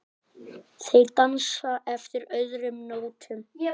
Þeir dansa eftir öðrum nótum.